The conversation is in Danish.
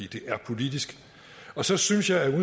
er politisk og så synes jeg at